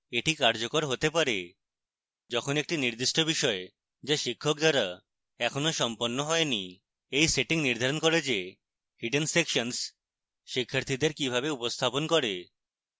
এটি কার্যকর হতে পারে যখন একটি নির্দিষ্ট বিষয় যা শিক্ষক দ্বারা এখনও সম্পন্ন হয়নি